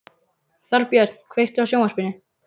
Þorbjörn, kveiktu á sjónvarpinu.